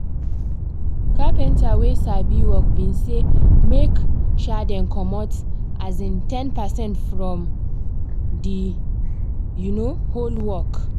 carpenta wey sabi work been say make um dem comot um ten percent from the um whole work